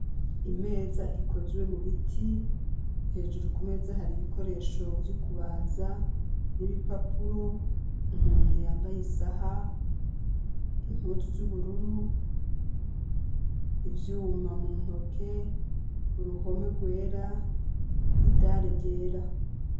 Imeza ikozwe mu biti, hejuru ku meza har'ibikoresho vyo kubaza n'ibipapuro, umuntu yambaye isaha, impuzu z'ubururu, ivyuma mu ntoke, uruhome rwera, idare ryera.